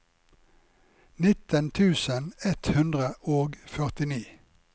nitten tusen ett hundre og førtini